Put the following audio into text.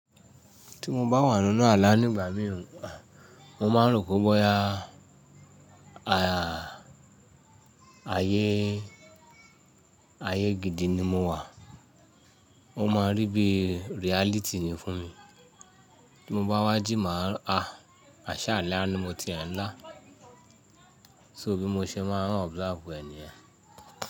Tí mo bá wà nínú ààlà nígbà mìíràn, mo máa rò pé bóyá ayé, ayé gidi ni mo wà. Ó máa rí bí reality ni fún mi. Tí mo bá wá jí, màá á, àṣà ààlà ni mo ti e ńlá. So bí mo ṣe máa observe ẹni ni yen.